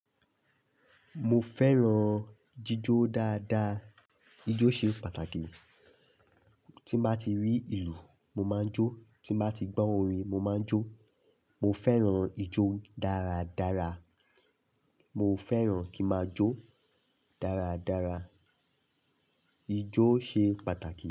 Mo fẹ́ràn jíjó dáadáa. Ijó ṣe pàtàkì. Tí máa ti rí ìlù, mo máa ń jó. Tí máa ti gbọ́ orin, mo máa ń jó. Mo fẹ́ràn ijó dáradára. Mo fẹ́ràn kí máa jó dáradára. Ijó ṣe pàtàkì.